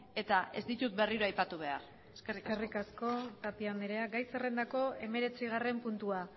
eta ez ditut berriro aipatu behar eskerrik asko eskerrik asko tapia anderea gai zerrendako hemeretzigarren puntua